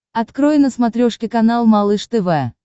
открой на смотрешке канал малыш тв